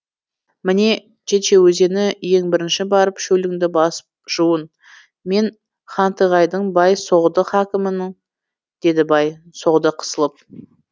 міне чече өзені ең бірінші барып шөліңді басып жуын мен хантығайдың бай соғды хакімімін деді бай соғды қысылып